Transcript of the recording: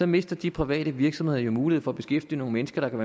mister de private virksomheder jo mulighed for at beskæftige nogle mennesker der kan